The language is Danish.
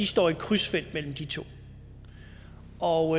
står i et krydsfelt mellem de to og